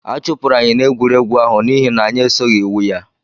Achụpụrụ anyị n'egwuregwu ahụ n'ihi na anyị esoghị iwu ya